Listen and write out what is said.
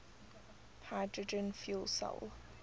hydrogen fuel cell